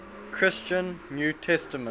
christian new testament